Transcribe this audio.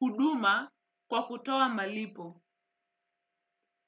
huduma kwa kutoa malipo.